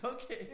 Okay